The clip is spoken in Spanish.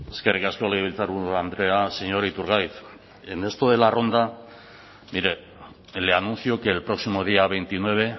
eskerrik asko legebiltzarburu andrea señor iturgaiz en esto de la ronda mire le anuncio que el próximo día veintinueve